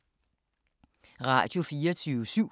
Radio24syv